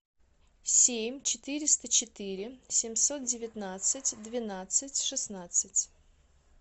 семь четыреста четыре семьсот девятнадцать двенадцать шестнадцать